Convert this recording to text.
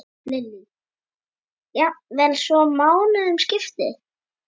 Lillý: Jafnvel svo mánuðum skipti?